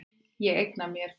Ég eigna mér þig.